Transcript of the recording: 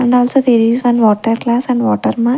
And also there is one water glass and water ma --